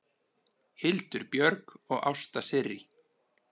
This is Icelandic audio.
Hildur Björg og Ásta Sirrí.